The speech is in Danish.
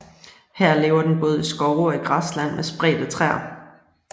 Her lever den både i skove og i græsland med spredte træer